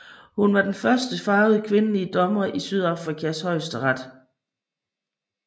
Hun var den første farvede kvindelige dommer i Sydafrikas Højesteret